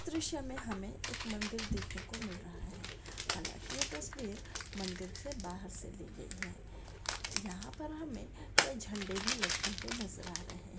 दृश में हमे एक मंदिर देखने को मिल रहा है हाला की ये तस्वीर मंदिर से बाहर से ली गई है यहा पर हमे कई झंडे भी लटके हुए नजर आ रहे है।